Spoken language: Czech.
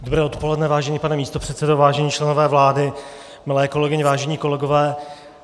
Dobré odpoledne, vážený pane místopředsedo, vážení členové vlády, milé kolegyně, vážení kolegové.